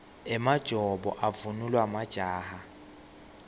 emajobo avunulwa majaha